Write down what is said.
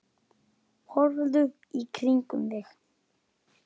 Horfðu í kringum þig!